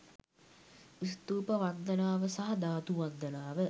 ස්තූප වන්දනාව සහ ධාතු වන්දනාව